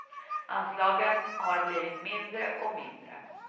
Anslagen har blivit mindre och mindre.